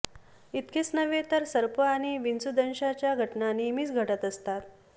इतकेच नव्हे तर सर्प आणि विंचूदंशाच्या घटना नेहमीच घडत असतात